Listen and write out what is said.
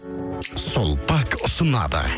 сулпак ұсынады